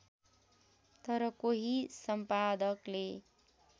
तर कोही सम्पादकले